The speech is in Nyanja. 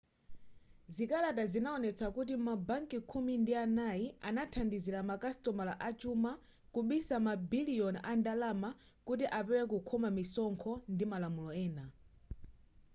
zikalata zinaonetsa kuti ma banki khumi ndi anayi anathandizila ma kasitomala achuma kubisa ma biliyoni a ndalama kuti apewe kukhoma misonkho ndi malamulo ena